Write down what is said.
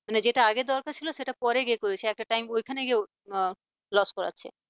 মানে জেতা আগে দরকার ছিল সেটা পরে গিয়ে করেছে একটা time ওইখানে গিয়ে loss করাচ্ছে।